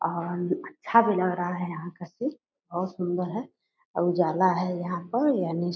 और अच्छा भी लग रहा है यहाँ का सिन बहुत सुन्दर है उजाला है यहाँ पर यानी --